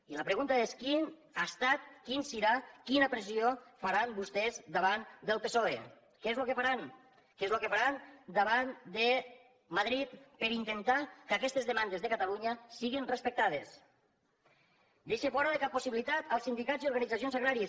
i la pregunta és quina ha estat quina serà quina pressió faran vostès davant del psoe què és lo que faran què és lo que faran davant de madrid per intentar que aquestes demandes de catalunya siguen respectades deixa fora de cap possibilitat els sindicats i organitzacions agràries